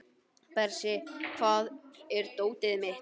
Bersi, hvar er dótið mitt?